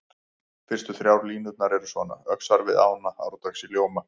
Fyrstu þrjár línurnar eru svona: Öxar við ána árdags í ljóma